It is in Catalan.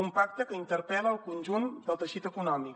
un pacte que interpel·la el conjunt del teixit econòmic